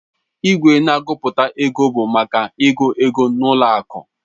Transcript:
Igwe na-agụpụta ego bụ maka ịgụ ego n'ụlọ akụ.